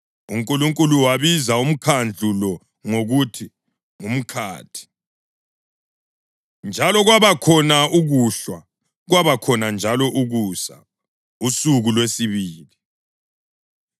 UNkulunkulu wabiza umkhandlu lo ngokuthi “ngumkhathi.” Njalo kwabakhona ukuhlwa, kwabakhona njalo ukusa, usuku lwesibili.